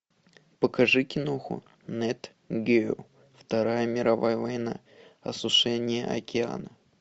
покажи киноху нет гео вторая мировая война осушение океана